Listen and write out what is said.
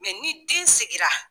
ni den sigira.